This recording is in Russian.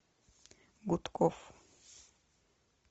гудков